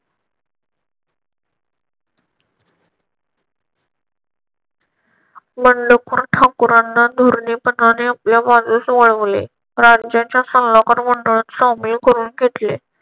बंडखोर ठाकूरांना धोरणे पणाने आपल्या बाजूस वळवले. राज्याच्या सल्लागार मंडळात सामील करून घेतले.